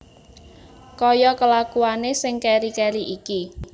Kaya kelakuane sing keri keri iki